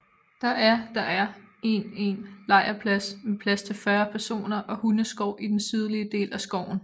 Der er Der er en en lejrplads med plads til 40 personer og hundeskov i den sydlige del af skoven